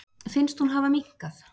Finnst hún hafa minnkað.